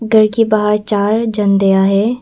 घर के बाहर चार झंडियां है।